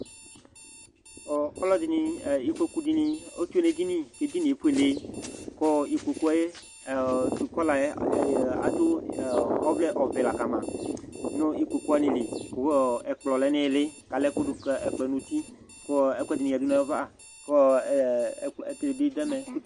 Ɔlɔdini ikpoku dini tsue nu edinie ku ikpoku ayu kɔlayɛ adu ɔvlɛ ɔvɛ la kama nu ikpoku wani li ku ɛkplɔ lɛ nu ili ku alaɛkudu kɛkploɛ nu uti ku ɛkuɛdi yadu nava ɛkuɛdibi du ɛmɛ